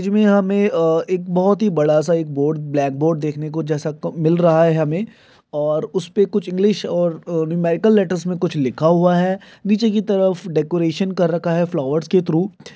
इसमें हमें अ एक बहुत ही बड़ा सा एक बोर्ड ब्लैक बोर्ड देखने को जैसा मिल रहा है हमें और उसपे कुछ इंग्लिश और अ न्यूमेरिकल लेटर्स में कुछ लिखा हुआ है नीचे की तरफ डेकोरेशन कर रखा है फ्लॉवर्स के थ्रू ।